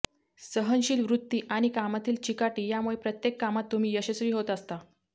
सहनशील वृत्ती आणि कामातील चिकाटी यामुळे प्रत्येक कामात तुम्ही यशस्वी होत असता